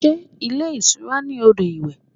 Sé ilé ìtura ní odò iwẹ̀?